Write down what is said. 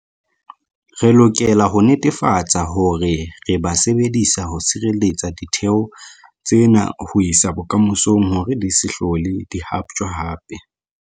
Re lokela ho netefatsa hore re ba sebedisa ho sireletsa ditheo tsena ho isa bokamosong hore di se hlole di haptjwa hape.